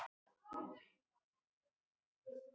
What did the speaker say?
Hjalti mælti er Runólfur var skírður